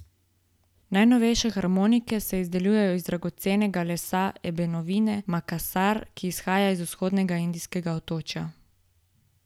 Najnovejše harmonike se izdelujejo iz dragocenega lesa ebenovine makasar, ki izhaja z vzhodnega indijskega otočja.